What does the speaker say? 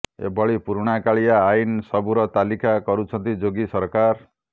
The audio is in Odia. ଏ ଭଳି ପୁରୁଣା କାଳିଆ ଆଇନ୍ ସବୁର ତାଲିକା କରୁଛନ୍ତି ଯୋଗୀ ସରକାର